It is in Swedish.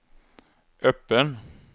öppen